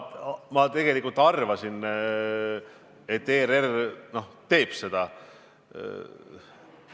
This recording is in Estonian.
Ma tegelikult arvasin, et ERR teeb seda.